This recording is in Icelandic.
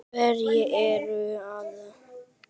Hvernig er ástandið á hópnum?